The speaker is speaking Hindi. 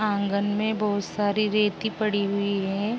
आँगन मे बहुत सारी रेती पड़ी हुई है।